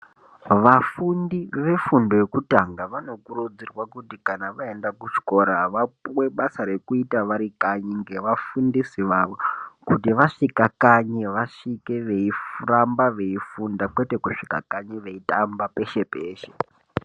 Vafundi vefundo yekutanga vanokurudzirwa kuti kana vaenda kuchikora vapuwe basa rekuita vari kanyi ngevafundisi vavo kuti zvasvika kanyi vasvike veiramba veifunda kwete kusvika kanyi veitamba peshe peshe.